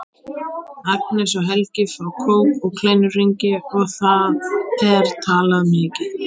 Agnes og Helgi fá kók og kleinuhringi og það er talað mikið.